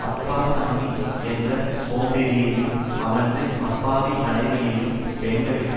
அப்பாசாமி என்ற சோம்பேறியையும் அவனது அப்பாவி மனைவியையும் பெண்களுக்கு